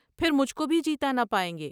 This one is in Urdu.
پھر مجھ کوبھی جیتا نہ پائیں گے ۔